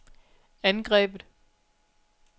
angrebet